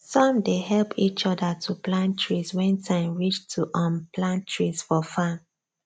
some dey help each other to plant trees when time reach to um plant trees for farm